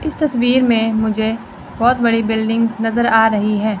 इस तस्वीर में मुझे बहोत बड़ी बिल्डिंग नजर आ रही है।